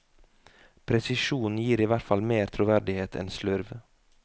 Presisjon gir i hvert fall mer troverdighet enn slurv.